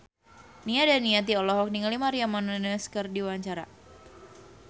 Nia Daniati olohok ningali Maria Menounos keur diwawancara